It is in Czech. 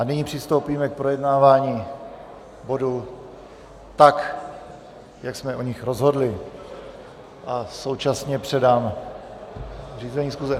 A nyní přistoupíme k projednávání bodů tak, jak jsme o nich rozhodli, a současně předám řízení schůze.